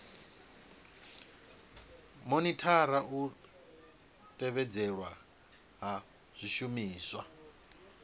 monithara u tevhedzelwa ha zwishumiswa